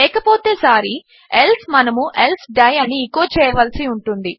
లేకపోతే సారీ ఎల్సే మనము ఎల్సే డై అని ఎచో చేయవలసి ఉంటుంది